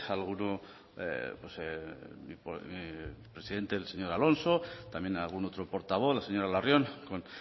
del presidente el señor alonso también algún otro portavoz la señora larrion con